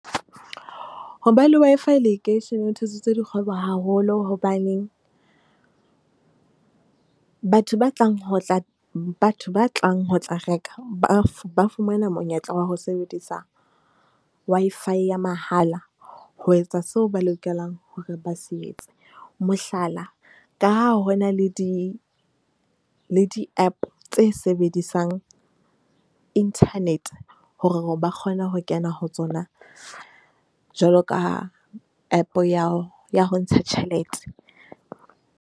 Ho ba le Wi-Fi lekeisheneng ho thusitse dikgwebo haholo. Hobaneng batho ba tlang ho tla reka. Ba fumana monyetla wa ho sebedisa Wi-Fi ya mahala ho etsa seo ba lokelang hore ba se etse. Mohlala ka ha hona le di le di-app tse sebedisang inthanete hore ba kgone ho kena ho tsona jwalo ka app ya ho ntsha tjhelete.